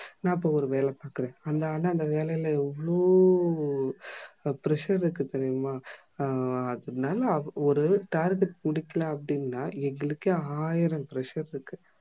நா இப்போ ஒரு வேல பாக்குற ஆனா அந்த வேலைல அவ்ளோ pressure இருக்கு தெரியுமா அதுனால ஒரு target முடிக்கல அப்டினா எங்களுக்கே ஆயிரம் pressure இருக்கு